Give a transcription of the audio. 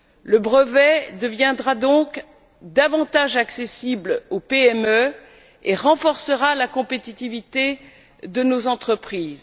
Le brevet deviendra donc davantage accessible aux PME et renforcera la compétitivité de nos entreprises.